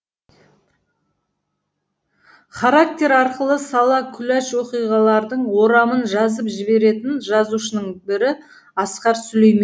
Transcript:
характер арқылы сала құлаш оқиғалардың орамын жазып жіберетін жазушының бірі асқар сүлейменов